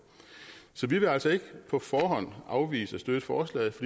så vi vil altså ikke på forhånd afvise at støtte forslaget